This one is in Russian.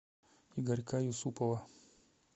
игорька юсупова